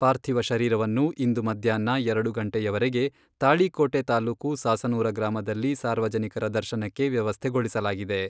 ಪಾರ್ಥಿವ ಶರೀರವನ್ನು ಇಂದು ಮಧ್ಯಾಹ್ನ ಎರಡು ಗಂಟೆಯವರೆಗೆ, ತಾಳಿಕೋಟೆ ತಾಲೂಕು ಸಾಸನೂರ ಗ್ರಾಮದಲ್ಲಿ ಸಾರ್ವಜನಿಕರ ದರ್ಶನಕ್ಕೆ ವ್ಯವಸ್ಥೆಗೊಳಿಸಲಾಗಿದೆ.